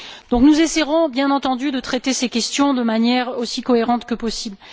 Donc nous essaierons, bien entendu, de traiter ces questions de manière aussi cohérente que possible.